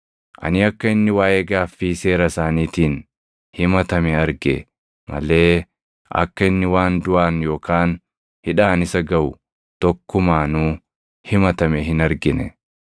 Ani akka inni waaʼee gaaffii seera isaaniitiin himatame arge malee akka inni waan duʼaan yookaan hidhaan isa gaʼu tokkumaanuu himatame hin argine.